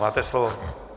Máte slovo.